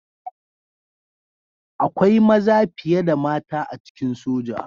Akwai maza fiye da mata a cikin soja